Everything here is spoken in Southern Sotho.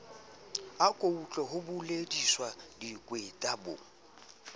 autlwe ho bolediswa bokweta bo